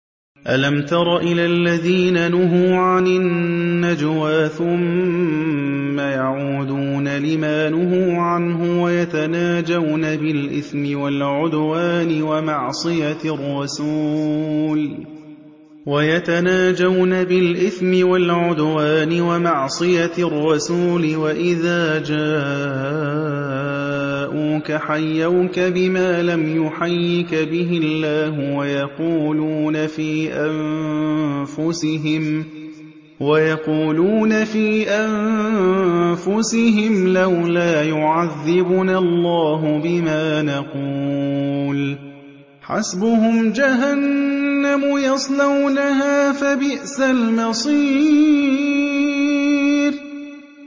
أَلَمْ تَرَ إِلَى الَّذِينَ نُهُوا عَنِ النَّجْوَىٰ ثُمَّ يَعُودُونَ لِمَا نُهُوا عَنْهُ وَيَتَنَاجَوْنَ بِالْإِثْمِ وَالْعُدْوَانِ وَمَعْصِيَتِ الرَّسُولِ وَإِذَا جَاءُوكَ حَيَّوْكَ بِمَا لَمْ يُحَيِّكَ بِهِ اللَّهُ وَيَقُولُونَ فِي أَنفُسِهِمْ لَوْلَا يُعَذِّبُنَا اللَّهُ بِمَا نَقُولُ ۚ حَسْبُهُمْ جَهَنَّمُ يَصْلَوْنَهَا ۖ فَبِئْسَ الْمَصِيرُ